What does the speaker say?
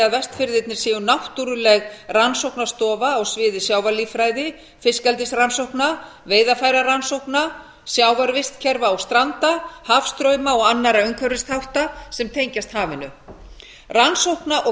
vestfirðirnir séu náttúruleg rannsóknastofa á sviði sjávarlíffræði fiskeldisrannsókna veiðarfærarannsókna sjávarvistkerfa og stranda hafstrauma og annarra umhverfisþátta sem tengjast hafinu rannsókna og